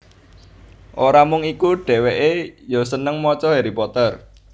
Ora mung iku dhèwèkè ya seneng maca Harry Potter